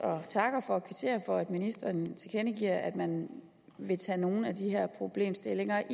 og takker og kvitterer for at ministeren tilkendegiver at man vil tage nogle af de her problemstillinger